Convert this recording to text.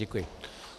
Děkuji.